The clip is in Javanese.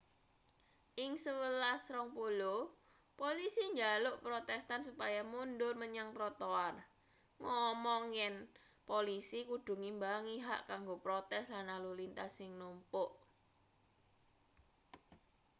ing 11.20 polisi njaluk protestan supaya mundur menyang trotoar ngomong yen polisi kudu ngimbangi hak kanggo protes lan lalu lintas sing numpuk